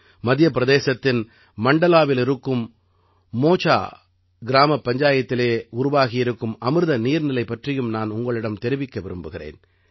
மத்திய பிரதேசத்தின் மண்டலாவிலிருக்கும் மோசா கிராமப் பஞ்சாயத்திலே உருவாகியிருக்கும் அமிர்த நீர்நிலை பற்றியும் நான் உங்களிடம் தெரிவிக்க விரும்புகிறேன்